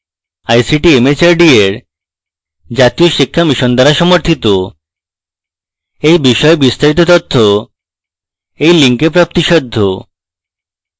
এই বিষয়ে বিস্তারিত তথ্য এই link প্রাপ্তিসাধ্য